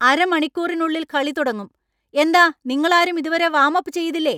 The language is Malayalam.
അരമണിക്കൂറിനുള്ളിൽ കളി തുടങ്ങും. എന്താ നിങ്ങളാരും ഇതുവരെ വാം അപ്പ് ചെയ്തില്ലേ ?